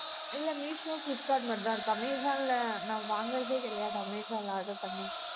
இல்லை மீஷோ, பிளிப்க்கார்ட் மட்டும்தான் இருக்கு, அமேசான்ல நான் வாங்குறதே கிடையாது. அமேசான்ல order பண்ணி